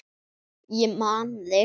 Ég man þig!